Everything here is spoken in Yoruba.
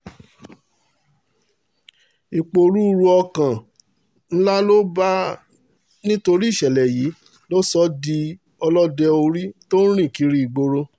ìpòrúurú ọkàn tó bá a nítorí ìṣẹ̀lẹ̀ yìí ló sọ ọ́ di ọlọ́dẹ orí tó ń rìn kiri ìgboro